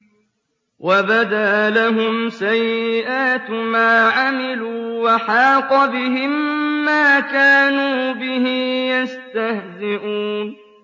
وَبَدَا لَهُمْ سَيِّئَاتُ مَا عَمِلُوا وَحَاقَ بِهِم مَّا كَانُوا بِهِ يَسْتَهْزِئُونَ